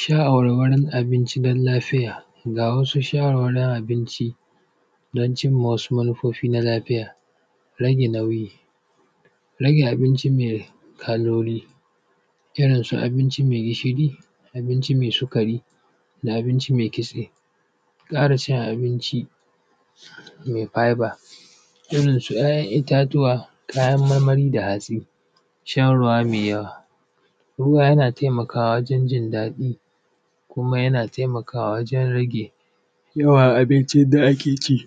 Shawarwarin abinci don lafiya, g a wasu shawarwari abinci don cin ma wasu manufofin lafiya rage nauyi, rage abinci mai kaloli, irin su abinci mai gishir, abinci mai sigari, abinci mai kitse. Ƙara cin abinci mai feber, irin su ‘ya’yan itatuwa, kayan marmari da hatsi, shan ruwa mai yawa. Ruwa na taimakawa wurin jin daɗi kuma yana taimakawa wajen rage yawan abncin da ake ci.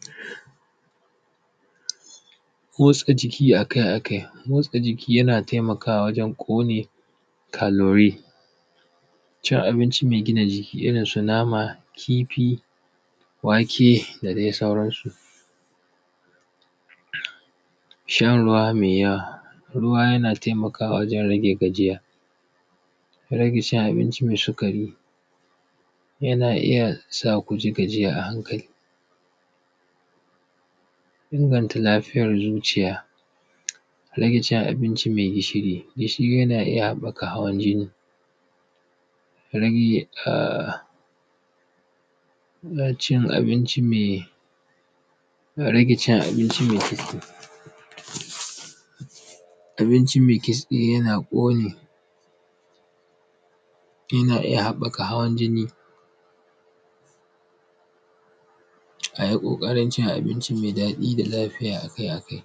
Motsa jiki a ka a kai, motsa jiki yana taimakwa wajen ƙone kalori, cin abinci mai gina jiki irin su nama, kifi, wake da dai sauransu. Shan ruwa mai yawa, ruwa yana taimakawa wajen rage gajiya, rage cin abinci mai sukari yana iya sa ku ji gajiya a hankali. Inganta lafiyar zuciya rage cin abinci mai gishiri, gishiri yana iya haɓaka hawan jini. Rage ahhh cin abinci mai, rage cin abinci mai kitse, abinci mai kitse yana ƙone, yana iya haɓaka hawan jinni. A yi ƙoƙarin cin abinci mai daɗi da lafiya a kai a kai.